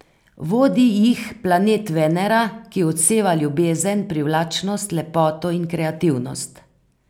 Vodi jih planet Venera, ki odseva ljubezen, privlačnost, lepoto in kreativnost.